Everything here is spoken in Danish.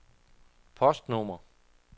postnummer